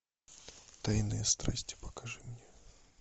тайные страсти покажи мне